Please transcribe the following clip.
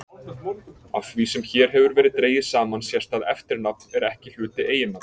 Af því sem hér hefur verið dregið saman sést að eftirnafn er ekki hluti eiginnafns.